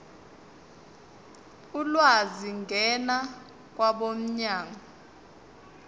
ulwazi ngena kwabomnyango